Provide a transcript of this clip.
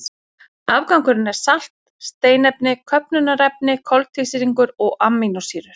Afgangurinn er salt, steinefni, köfnunarefni, koltvísýringur og amínósýrur.